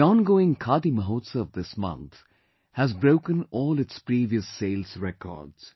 The ongoing Khadi Mahotsav this month has broken all its previous sales records